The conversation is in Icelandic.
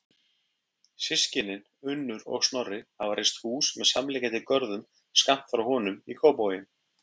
Systkinin, Unnur og Snorri, hafa reist hús með samliggjandi görðum skammt frá honum í Kópavogi.